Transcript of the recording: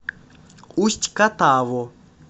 усть катаву